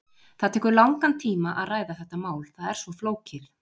Það tekur langan tíma að ræða þetta mál, það er svo flókið.